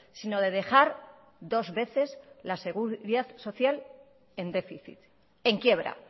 sino de dejar dos veces la seguridad social en déficit en quiebra